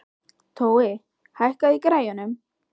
Tói, hækkaðu í græjunum.